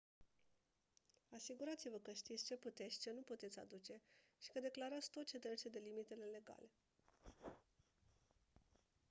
asigurați-vă că știți ce puteți și ce nu puteți aduce și că declarați tot ce trece de limitele legale